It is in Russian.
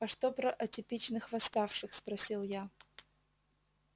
а что про атипичных восставших спросил я